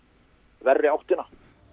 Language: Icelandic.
verri áttina